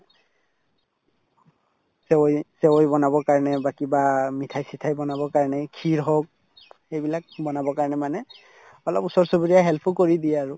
চেৱাই চেৱাই বনাবৰ কাৰণে বা কিবা মিঠাই চিঠাই বনাবৰ কাৰণে kheer হওক এইবিলাক বনাবৰ কাৰণে মানে অলপ ওচৰ-চুবুৰীয়াই help ও কৰি দিয়ে আৰু